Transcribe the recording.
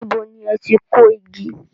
Níbo ni ẹ ti kó igi?